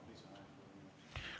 Palun lisaaega kolm minutit.